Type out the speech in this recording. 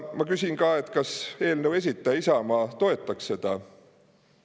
Ma küsin ka, kas eelnõu esitaja Isamaa toetaks seda.